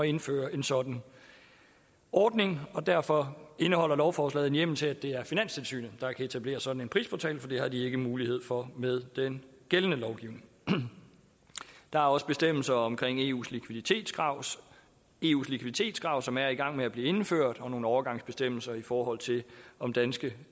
indføre en sådan ordning derfor indeholder lovforslaget en hjemmel til at det er finanstilsynet der kan etablere sådan en prisportal for det har de ikke mulighed for med den gældende lovgivning der er også bestemmelser om eus likviditetskrav eus likviditetskrav som er i gang med at blive indført og nogle overgangsbestemmelser i forhold til om danske